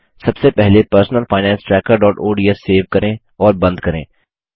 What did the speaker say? सबसे पहले personal finance trackerओडीएस सेव करें और बंद करें